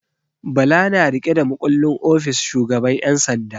Bala na riƙe da makullin ofis shugaban 'yan sanda.